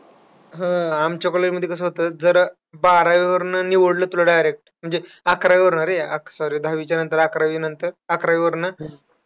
हम्म आमच्या college मध्ये कसं होतं. जर बारावीवरनं निवडलं तुला direct म्हणजे अकरावीवरनं रे, sorry दहावीच्यानंतर अकरावी नतर, अकरावी वरनं